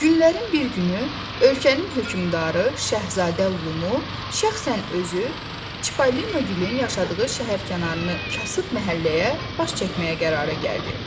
Günlərin bir günü ölkənin hökmdarı Şahzadə Lumu şəxsən özü Çipollonun yaşadığı şəhərkənarını kasıb məhəlləyə baş çəkməyə qərara gəldi.